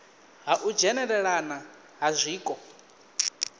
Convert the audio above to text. ha u dzhenelelana ha zwiko